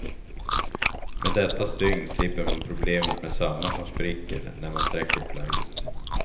Med detta stygn slipper man problemet med sömmar som spricker när man sträcker plagget.